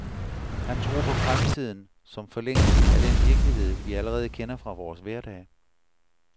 Han tror på fremtiden, som forlængelsen af den virkelighed, vi allerede kender fra vores hverdag.